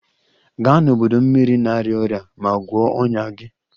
Gaa n'ọdọ mmiri na-arịa ọrịa ma gwọọ ọnya gị!